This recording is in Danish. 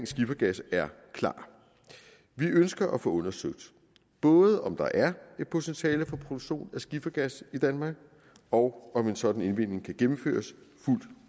skifergas er klar vi ønsker at få undersøgt både om der er et potentiale for produktion af skifergas i danmark og om en sådan indvinding kan gennemføres